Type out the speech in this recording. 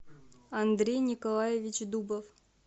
андрей николаевич дубов